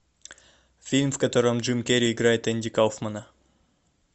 фильм в котором джим керри играет энди кауфмана